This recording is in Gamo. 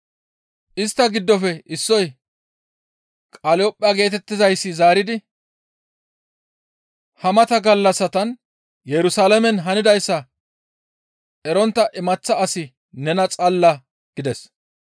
Istta giddofe issoy Qaliyopha geetettizayssi zaaridi, «Ha mata gallassatan Yerusalaamen hanidayssa erontta imaththa asi nena xallaa?» gides.